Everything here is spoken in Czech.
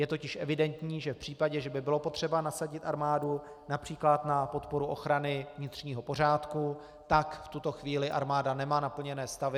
Je totiž evidentní, že v případě, že by bylo potřeba nasadit armádu, například na podporu ochrany vnitřního pořádku, tak v tuto chvíli armáda nemá naplněné stavy.